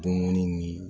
Dumuni ni